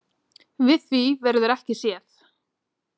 Við því verður ekki séð.